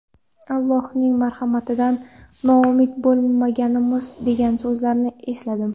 Allohning marhamatidan noumid bo‘lmangiz, degan so‘zlarni esladim.